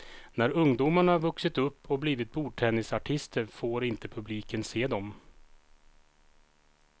När ungdomarna vuxit upp och blivit bordtennisartister får inte publiken se dem.